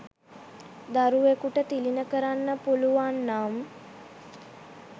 දරුවෙකුට තිළිණ කරන්න පුළුවන් නම්